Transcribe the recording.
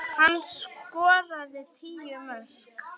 Hvíl þú í friði Finnur.